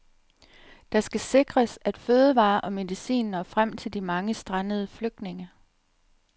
Der skal sikres, at fødevarer og medicin når frem til de mange strandede flygtninge.